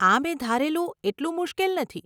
આ મેં ધારેલું એટલું મુશ્કેલ નથી.